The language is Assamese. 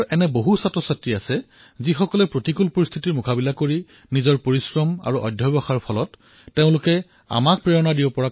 এনেকুৱা কিমান ছাত্ৰ আছে যি দুখীয় পৰিয়ালৰ আৰু প্ৰতিকূল পৰিস্থিতিৰ পিছতো নিজৰ পৰিশ্ৰম আৰু প্ৰয়াসৰ দ্বাৰা এনেকুৱা কাৰ্য সিদ্ধ কৰিছে যিয়ে আমাক প্ৰেৰণা দিয়ে